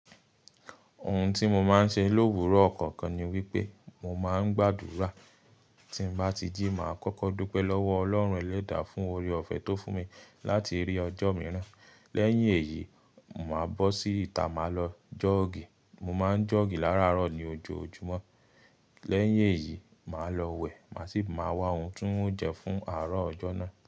Ohun tí mo máa ń ṣe l'òwúrò ọkàn kan ni wípé mo máa ń gbàdúrà. Tí mo bá ti jí máa kọ́kọ́ dúpẹ́ lọ́wọ́ Ọlọ́run ẹlẹ́dàá fún oore-ọ̀fẹ́ tó fún mi láti rí ọjọ́ mìíràn. Lẹ́yìn èyí, màá bọ́ sí ìta, màá lọ jọ́ọ̀gì. Mo máa ń jọ́ọ̀gì láràárọ̀ ní ojoojúmọ́. Lẹ́yìn èyí, màá lọ wẹ̀, màá sì máa wá ohun tí ń jẹ fún àárọ̀ ọjọ́ náà.